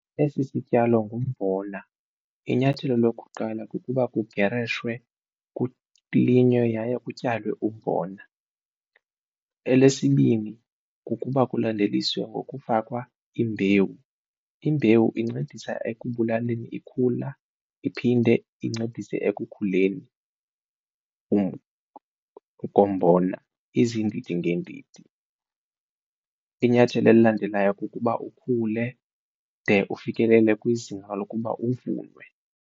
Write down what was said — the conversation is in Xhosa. Esi sityalo ngumbona inyathelo lokuqala kukuba kugereshwe kulinywe yaye kutyalwe umbona. Elesibini kukuba kulandeliswe ngokufakwa imbewu, imbewu incedisa ekubulaleni ikhula iphinde incedise ekukhuleni kombona izindidi ngendidi. Inyathelo elilandelayo kukuba ukhule de ufikelele kwizinga lokuba uvunwe.